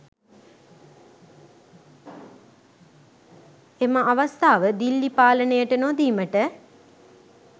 එම අවස්ථාව දිල්ලි පාලනයට නොදීමට